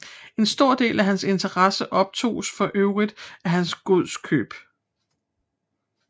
En stor del af hans interesser optoges for øvrigt af hans godskøb